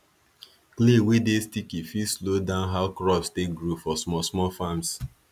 clay wey dey sticky fit slow down how crops take grow for small small farms